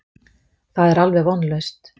Það er alveg vonlaust.